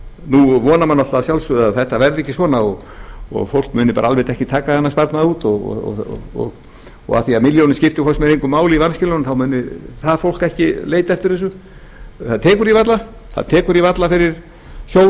nú vona menn náttúrlega að sjálfsögðu að þetta verði ekki svona og fólk muni almennt ekki taka þennan sparnað út og af því að milljónin skiptir hvort sem engu máli í vanskilunum þá muni það fólk ekki leita eftir þessu það tekur því varla fyrir hjón